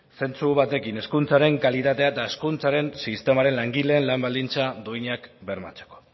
zentzu batekin hezkuntzaren kalitatea eta hezkuntzaren sistemaren langile lan baldintza duinak bermatzeko